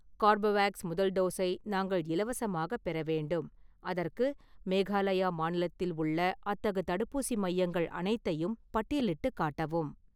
Corbevax முதல் டோஸை நாங்கள் இலவசமாகப் பெற வேண்டும், அதற்கு மேகாலயா மாநிலத்தில் உள்ள அத்தகு தடுப்பூசி மையங்கள் அனைத்தையும் பட்டியலிட்டுக் காட்டவும்